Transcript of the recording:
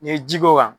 N'i ye ji k'o kan